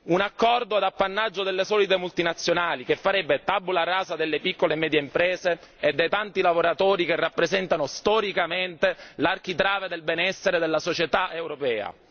Un accordo ad appannaggio delle solite multinazionali che farebbe tabula rasa delle piccole e medie imprese e dei tanti lavoratori che rappresentano storicamente l'architrave del benessere della società europea.